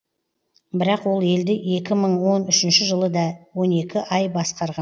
бірақ ол елді екі мың он үшінші жылы да он екі ай басқарған